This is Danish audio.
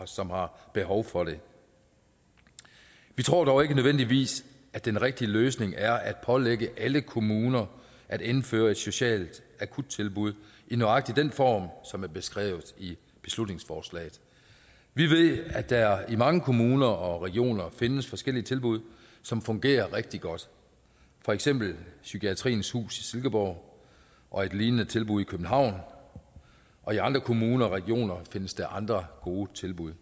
som har behov for det vi tror dog ikke nødvendigvis at den rigtige løsning er at pålægge alle kommuner at indføre et socialt akuttilbud i nøjagtig den form som er beskrevet i beslutningsforslaget vi ved at der i mange kommuner og regioner findes forskellige tilbud som fungerer rigtig godt for eksempel psykiatriens hus i silkeborg og et lignende tilbud i københavn og i andre kommuner og regioner findes der andre gode tilbud